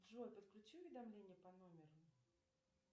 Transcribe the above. джой подключи уведомление по номеру